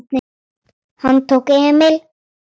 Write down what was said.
Hann tók Emil í fangið.